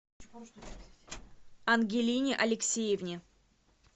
ангелине алексеевне